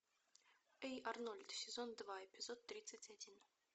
эй арнольд сезон два эпизод тридцать один